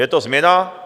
Je to změna?